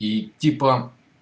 и типа